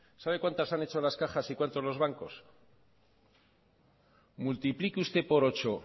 sabe cuantas han hecho las cajas y cuántos los bancos multiplique usted por ocho